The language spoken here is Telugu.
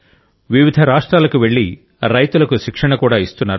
వివిధ రాష్ట్రాలకు వెళ్లి రైతులకు శిక్షణ కూడా ఇస్తున్నారు